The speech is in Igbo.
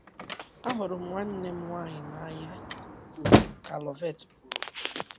“ Ahụrụ m nwanne m nwanyị n’anya nke ukwuu ka Loveth kwuru.